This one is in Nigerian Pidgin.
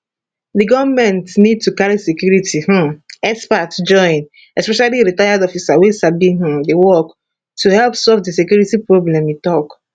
di goment need to carry security um experts join especially retired officers wey sabi um di work to help solve di security problem e tok